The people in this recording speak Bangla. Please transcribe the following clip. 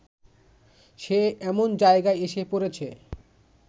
সে এমন জায়গায় এসে পড়েছে